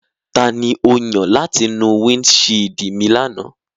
Tani o yan lati nu windṣiidi mi lana?